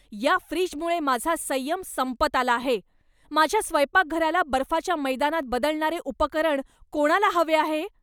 या फ्रीजमुळे माझा संयम संपत आला आहे. माझ्या स्वयंपाकघराला बर्फाच्या मैदानात बदलणारे उपकरण कोणाला हवे आहे